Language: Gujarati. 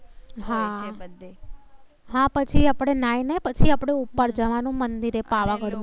હા પછી આપણે નાહિ ને પછી આપણે પછી ઉપર જવા નું મંદિરે પાવાગઢ.